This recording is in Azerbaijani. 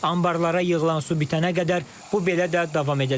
Anbarlara yığılan su bitənə qədər bu belə də davam edəcək.